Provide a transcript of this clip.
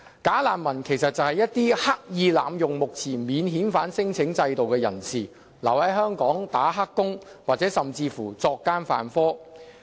"假難民"其實是一些刻意濫用目前免遣返聲請制度的人士，他們留在香港"打黑工"，或甚至作奸犯科。